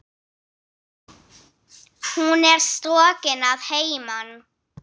Hún er strokin að heiman.